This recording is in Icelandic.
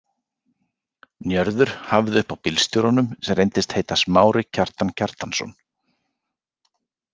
Njörður hafði uppi á bílstjóranum sem reyndist heita Smári Kjartan Kjartansson.